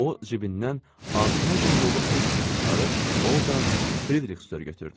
O cibindən ağzına can dolu pul kisəsi çıxarıb ordan Fridrixsür götürdü.